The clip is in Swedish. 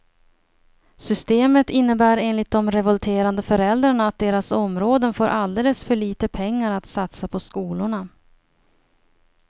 Systemet innebär enligt de revolterande föräldrarna att deras områden får alldeles för lite pengar att satsa på skolorna.